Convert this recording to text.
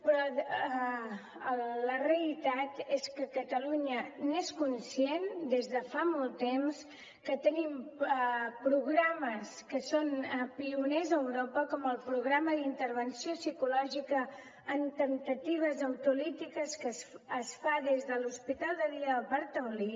però la realitat és que catalunya n’és conscient des de fa molt temps que tenim programes que són pioners a europa com el programa d’intervenció psicològica en temptatives autolítiques que es fa des de l’hospital de dia del parc taulí